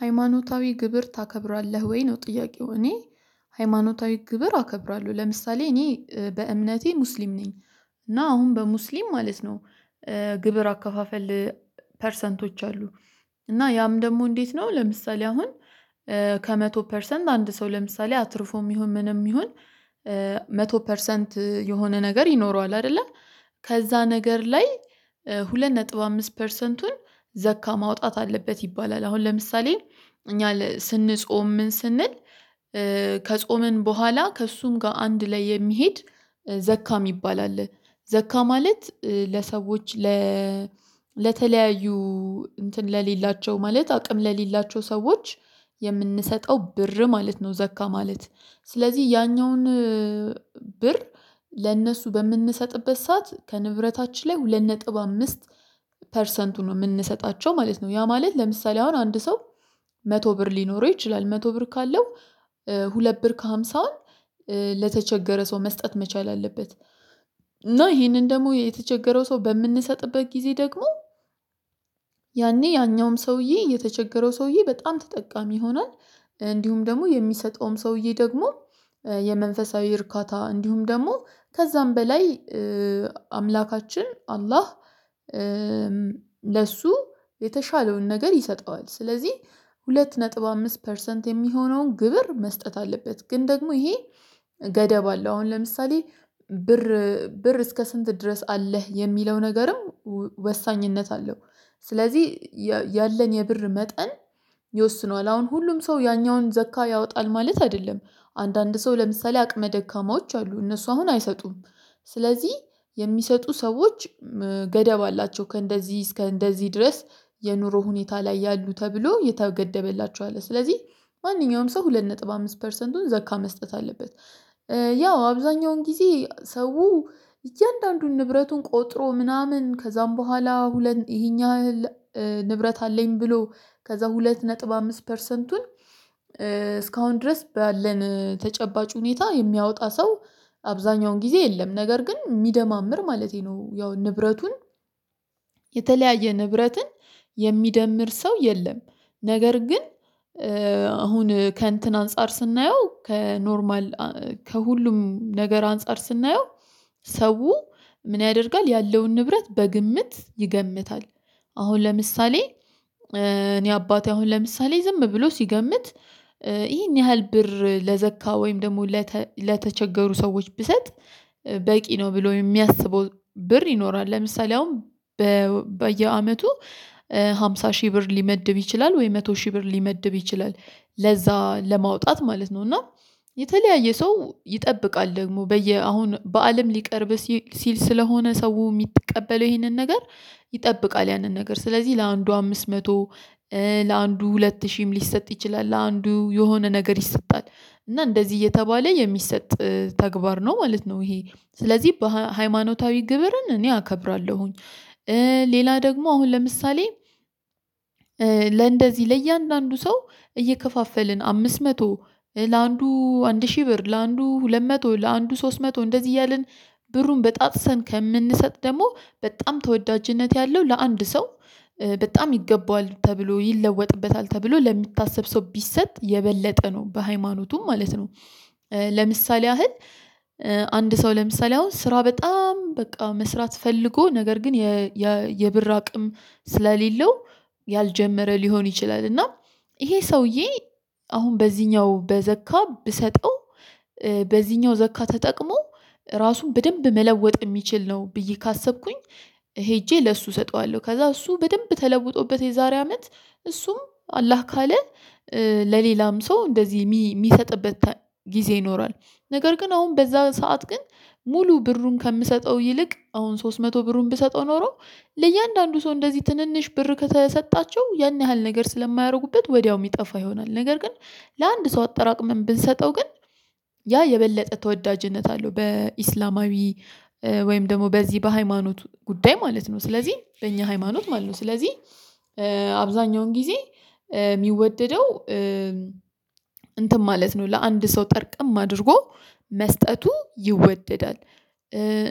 ሃይማኖታዊ ግብር ታከብራለህ ወይ? ነው ጥያቄው እኔ ሃይማኖታዊ ግብር አከብራለሁ ለምሳሌ እኔ በእምነቴ ሙስሊም ነኝ እና አሁን በሙስሊም ማለት ነው። ግብር አከፋፈል ፐርሰንቶች አሉ። እና ያም ደግሞ እንዴት ነው ለምሳሌ አሁን ከመቶ ፐርሰንት አንድ ሰው ለምሳሌ አትርፎም ይሁን ምንም ይሁን? መቶ ፐርሰንት የሆነ ነገር ይኖረዋል አይደለ ከዛ ነገር ላይ ሁለት ነጥብ አምስት ፐርሰንቱን ዘካ ማውጣት አለበት ይባላል። አሁን ለምሳሌ እኛ ስንጾም ምን ስንል ከጾምን በኋላ ከእሱም ጋር አንድ ላይ የሚሄድ ዘካ የሚባል አለ ዘካ ማለት ለሰዎች ለተለያዩ እንትን ለሌላቸው ማለት አቅም ለሌላቸው ሰዎች የምንሰጠው ብር ማለት ነው። ዘካ ማለት ስለዚህ ያኛውን ብር ለእነሱ በምንሰጥበት ሰዓት ከንብረታችን ላይ ሁለት ነጥብ አምስት ፐርሰንቱን ነው የምንሰጣቸው ማለት ነው። ያ ማለት ለምሳሌ አሁን አንድ ሰው መቶ ብር ሊኖረው ይችላል መቶ ብር ካለው ሁለት ብር ከሃምሳ ለተቸገረ ሰው መስጠት መቻል አለበት። እና ይሄንን ደግሞ የተቸገረው ሰው በምንሰጥበት ጊዜ ደግሞ ያኔ ያኛውም ሰውዬ የተቸገረው ሰውዬ በጣም ተጠቃሚ ይሆናል። እንዲሁም ደግሞ የሚሰጠውም ሰውዬ ደግሞ የመንፈሳዊ እርካታ እንዲሁም ደግሞ ከዛም በላይ አምላካችን አላህ ለሱ የተሻለውን ነገር ይሰጠዋል። ስለዚህ ሁለት ነጥብ አምስት ፐርሰንት የሚሆነውን ግብር መስጠት አለበት። ግን ደግሞ ይሄ ገደብ አለ አሁን ለምሳሌ ብር ብር እስከ ስንት ድረስ አለህ የሚለው ነገርም ወሳኝነት አለው። ስለዚህ ያለን የብር መጠን ይወስነዋል አሁን ሁሉም ሰው ያኛውን ዘካ ያወጣል ማለት አይደለም። አንዳንድ ሰው ለምሳሌ አቅመ ደካማዎች አሉ እነሱ አሁን አይሰጡም። ስለዚህ የሚሰጡ ሰዎች ገደብ አላቸው ከእንደዚህ እስከ እንደዚህ ድረስ የኑሮ ሁኔታ ላይ ያሉ ተብሎ የተገደበላቸው አለ ስለዚህ ማንኛውም ሰው ሁለት ነጥብ አምስት ፐርሰንቱን ዘካ መስጠት አለበት። ያው አብዛኛውን ጊዜ ሰው እያንዳንዱን ንብረቱን ቆጥሮ ምናምን ከዛም በኋላ ሁለት ይሄኛህ ንብረት አለኝ ብሎ ከዛ ሁለት ነጥብ አምስት ፐርሰንቱን እስካሁን ድረስ ባለን ተጨባጭ ሁኔታ የሚያወጣ ሰው አብዛኛውን ጊዜ የለም። ነገር ግን የሚደማምር ማለቴ ነው ያው ንብረቱን የተለያየ ንብረትን የሚደምር ሰው የለም። ነገር ግን አሁን ከእንትን አንፃር ስናየው ከኖርማል ከሁሉም ነገር አንፃር ስናየው ሰው ምን ያደርጋል ያለውን ንብረት በግምት ይገምታል። አሁን ለምሳሌ እኔ አባቴ አሁን ለምሳሌ ዝም ብሎ ሲገምት ይሄን ያህል ብር ለዘካ ወይም ደግሞ ለተቸገሩ ሰዎች ብሰጥ በቂ ነው ብሎ የሚያስበው ብር ይኖራል። ለምሳሌ አሁን በየአመቱ አምሳ ሺህ ብር ሊመድብ ይችላል ወይ መቶ ሺህ ብር ሊመድብ ይችላል ለዛ ለማውጣት ማለት ነው። እና የተለያየ ሰው ይጠብቃል ደግሞ በየ አሁን በአለም ሊቀርብ ሲል ስለሆነ ሰው የሚቀበለው ይሄንን ነገር ይጠብቃል ያንን ነገር ስለዚህ ለአንዱ አምስት መቶ ለአንዱ ሁለት ሺህም ሊሰጥ ይችላል ለአንዱ የሆነ ነገር ይሰጣል እና እንደዚህ እየተባለ የሚሰጥ ተግባር ነው ማለት ነው። ይሄ ስለዚህ በሃይማኖታዊ ግብርን እኔ አከብራለሁኝ። ሌላ ደግሞ አሁን ለምሳሌ ለእንደዚህ ለእያንዳንዱ ሰው እየከፋፈልን አምስት መቶ ለአንዱ አንድ ሺህ ብር ለአንዱ ሁለት መቶ ለአንዱ ሶስት መቶ እንደዚህ እያልን ብሩን በጣጥሰን ከምንሰጥ ደግሞ በጣም ተወዳጅነት ያለው ለአንድ ሰው በጣም ይገባዋል ተብሎ ይለወጥበታል ተብሎ ለሚታሰብ ሰው ቢሰጥ የበለጠ ነው በሃይማኖቱም ማለት ነው። ለምሳሌ ያህል አንድ ሰው ለምሳሌ አሁን ስራ በጣም በቃ መስራት ፈልጎ ነገር ግን የብር አቅም ስለሌለው ያልጀመረ ሊሆን ይችላል። እና ይሄ ሰውዬ አሁን በዚህኛው በዘካ ብሰጠው በዚህኛው ዘካ ተጠቅሞ ራሱን በደንብ መለወጥ የሚችል ነው ብዬ ካሰብኩኝ ሄጄ ለእሱ እሰጠዋለሁ ከዛ እሱ በደንብ ተለውጦበት የዛሬ አመት እሱም አላህ ካለ ለሌላም ሰው እንደዚህ የሚሰጥበት ጊዜ ይኖራል። ነገር ግን አሁን በዛ ሰዓት ግን ሙሉ ብሩን ከምሰጠው ይልቅ አሁን ሶስት መቶ ብሩን ብሰጠው ኖሮ ለእያንዳንዱ ሰው እንደዚህ ትንንሽ ብር ከተሰጣቸው ያን ያህል ነገር ስለማያደርጉበት ወዲያው የሚጠፋ ይሆናል። ነገር ግን ለአንድ ሰው አጠራቅመን ብንሰጠው ግን ያ የበለጠ ተወዳጅነት አለው። በእስላማዊ ወይም ደግሞ በዚህ በሃይማኖት ጉዳይ ማለት ነው። ስለዚህ በእኛ ሃይማኖት ማለት ነው። ስለዚህ አብዛኛውን ጊዜ የሚወደደው እንትን ማለት ነው ለአንድ ሰው ጠርቅም አድርጎ መስጠቱ ይወደዳል።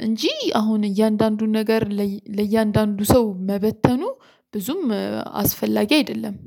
እንጂ አሁን እያንዳንዱን ነገር ለእያንዳንዱ ሰው መበተኑ ብዙም አስፈላጊ አይደለም።